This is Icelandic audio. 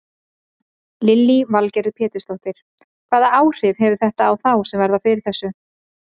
Lillý Valgerður Pétursdóttir: Hvaða áhrif hefur þetta á þá sem verða fyrir þessu?